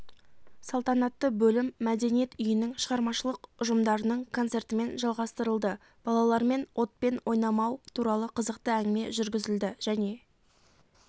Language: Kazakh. салтанатты бөлім мәдениет үйінің шығармашылық ұжымдарының концертімен жалғастырылды балалармен отпен ойнамау туралы қызықты әңгіме жүргізілді және